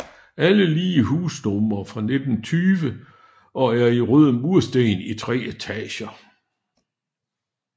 Alle lige husnumre er fra 1920 og er i røde mursten i tre etager